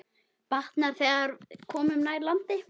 Batnar, þegar komum nær landi.